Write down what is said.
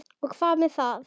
Og hvað með það?